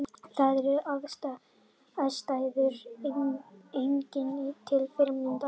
Þar eru aðstæður einnig til fyrirmyndar